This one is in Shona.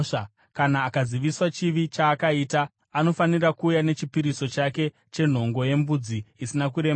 Kana akaziviswa chivi chaakaita, anofanira kuuya nechipiriso chake chenhongo yembudzi isina kuremara.